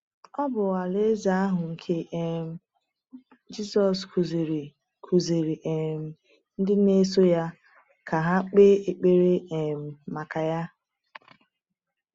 Ọ bụ Alaeze ahụ nke um Jisọs kụziiri kụziiri um ndị na-eso ya ka ha kpee ekpere um maka ya.